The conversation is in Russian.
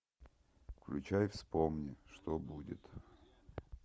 включай вспомни что будет